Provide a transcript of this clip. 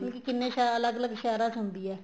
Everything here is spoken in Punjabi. ਮਤਲਬ ਕੀ ਕਿੰਨੇ ਅਲੱਗ ਅਲੱਗ ਸ਼ਹਿਰਾਂ ਚ ਹੁੰਦੀ ਏ